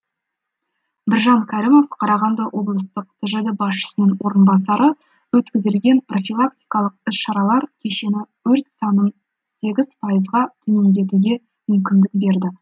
біржан кәрімов қарағанды облыстық тжд басшысының орынбасары өткізілген профилактикалық іс шаралар кешені өрт санын сегіз пайызға төмендетуге мүмкіндік берді